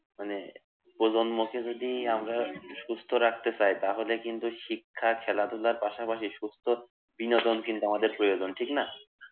মানে প্রজন্মকে যদি আমরা সুস্থ রাখতে চাই তাহলে কিন্তু শিক্ষা খেলাধুলার পাশাপাশি সুস্থ বিনোদন কিন্তু আমাদের প্রয়োজন ঠিক না?